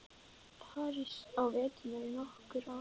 París á vetrum í nokkur ár.